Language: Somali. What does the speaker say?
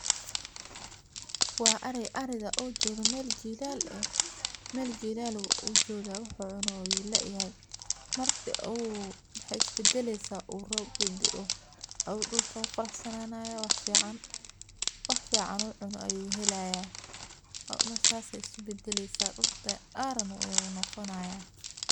Waa ariga oo jogo meel jilal eh meel jilal ayu joga wax u cuno ayu laayahay marku waxaa isbadaleysa marku u rob dao dulka wu qurux sananaya wax fican u cuno ayu helaya sas ayey isku badaleysa dulka aran ayu noqonaya.